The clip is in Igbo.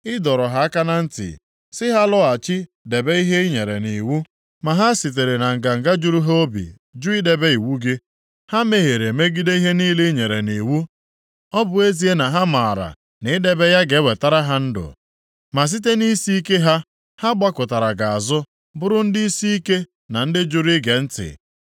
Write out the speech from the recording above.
“Ị dọrọ ha aka na ntị sị ha lọghachi debe ihe i nyere nʼiwu. Ma ha sitere na nganga juru ha obi jụ idebe iwu gị. Ha mehiere megide ihe niile i nyere nʼiwu, ọ bụ ezie na ha maara na idebe ya ga-ewetara ha ndụ. Ma site nʼisiike ha, ha gbakụtara gị azụ, bụrụ ndị isiike na ndị jụrụ ige ntị.